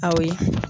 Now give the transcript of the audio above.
Awɔ